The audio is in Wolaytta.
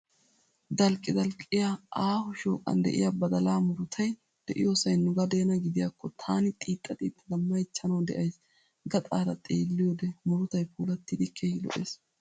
Dalqqidalqqiyaa aaho shooqan de'iyaa badalaa murutayii de'iyoosayi nugadeena gidiyaakko taani xiixxa xiixxada mayichchanawu de'ays. Gaxaara xeelliyoode murutayii puulattidi keehi lo'ees.